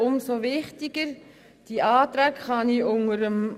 Umso wichtiger ist der Rest unserer Anträge.